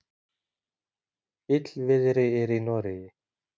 Illviðri er í Noregi.